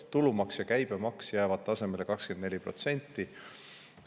Tulumaks ja käibemaks jäävad 24% tasemele.